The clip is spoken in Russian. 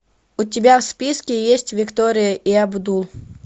у тебя в списке есть виктория и абдул